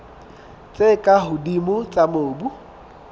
tse ka hodimo tsa mobu